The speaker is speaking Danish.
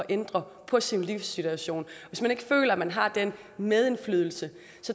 ændre sin livssituation hvis man ikke føler man har den medindflydelse